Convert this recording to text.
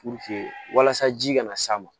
walasa ji kana s'a ma